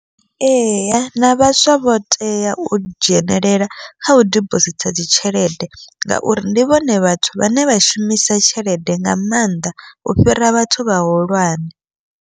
Eya na vhaswa vho tea u dzhenelela kha u dibositha dzi tshelede, ngauri ndi vhone vhathu vhane vha shumisa tshelede nga mannḓa u fhira vhathu vhahulwane.